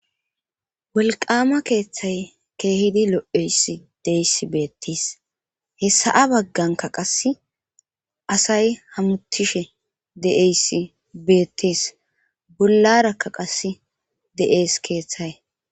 Walqama keeththay keehidi lo'eyss deeys beettiis hessaa bagganka qas asay hamutishe de'eyssi beettis bollarakka qas de'ees keeththay.